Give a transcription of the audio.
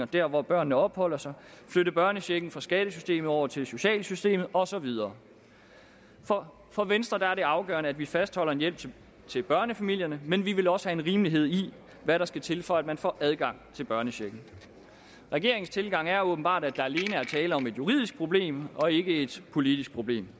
der hvor børnene opholder sig flytte børnechecken fra skattesystemet over til socialsystemet og så videre for for venstre er det afgørende at vi fastholder en hjælp til børnefamilierne men vi vil også have en rimelighed i hvad der skal til for at man får adgang til børnechecken regeringens tilgang er åbenbart at der alene er tale om et juridisk problem og ikke et politisk problem